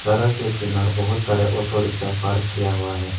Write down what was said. और सड़क के किनार बहुत सारे ऑटो रिक्शा पार्क किया हुआ है।